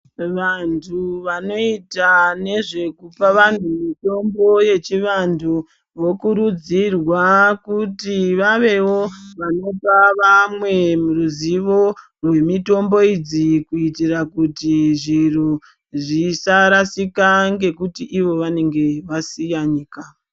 Vantu vanoita nezve kupa vanhu mutombo wechivantu vokurudzirwa kuti vavewo vanopa vamwe ruzivo rwemitombo idzi kuitira kuti zviro zvisarasika ngekuti vanenge vasiya nyika.